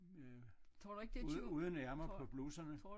Med uden ærmer på bluserne